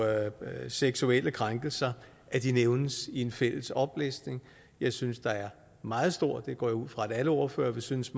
seksuelle krænkelser nævnes i en fælles oplistning jeg synes der er meget stor forskel og det går jeg ud fra at alle ordførere vil synes